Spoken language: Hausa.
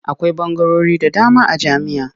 Akwai ɓangarori da dama a jami'a.